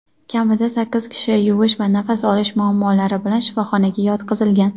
Kamida sakkiz kishi kuyish va nafas olish muammolari bilan shifoxonaga yotqizilgan.